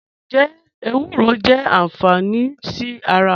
Njẹ ewúrọ jẹ anfání sí ara?